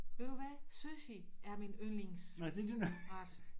Ved du hvad sushi er min yndlingsret